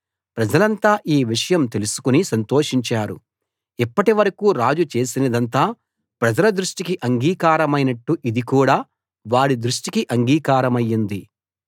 ప్రజలంతా ఈ విషయం తెలుసుకుని సంతోషించారు ఇప్పటి వరకూ రాజు చేసినదంతా ప్రజల దృష్టికి అంగీకారమైనట్టు ఇది కూడా వారి దృష్టికి అంగీకారమయ్యింది